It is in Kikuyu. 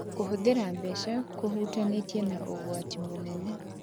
Kũhũthĩra mbeca kũhutanĩtie na ũgwati mũnene.